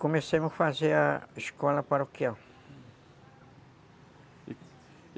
Comecei a fazer a escola paroquial.